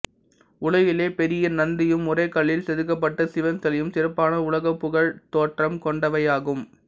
உலகிலே பெரிய நந்தியும் ஒரே கல்லில் செதுக்கப்பட்ட சிவன் சிலையும் சிறப்பான உலக புகழ் தோற்றம் கொண்டவையாகும்